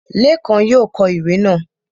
Lékan yóò kọ ìwé náà